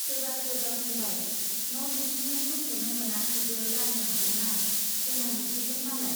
सोरबा सोरबा बुंबाय , न' लुफैनो समखौनो मोनाखैबो जानो हागौना, देनां लुफैगोन मालाय।